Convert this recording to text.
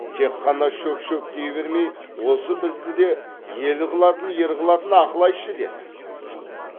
тек қана шөк шөк дей бермей осы бізді де ел қылатын ер қылатын ақыл айтшы деді